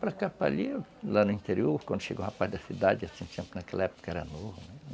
Para cá, para ali, lá no interior, quando chegou um rapaz da cidade, assim, sempre naquela época era novo.